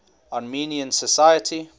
armenian society